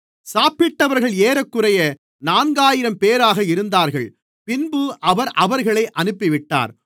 சாப்பிட்டவர்கள் ஏறக்குறைய நான்காயிரம்பேராக இருந்தார்கள் பின்பு அவர் அவர்களை அனுப்பிவிட்டார்